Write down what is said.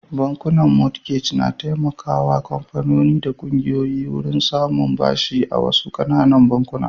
Bankunan mortgage na taimakawa kamfanoni da kungiyoyi wurin samun bashi daga wasu ƙananan bankuna.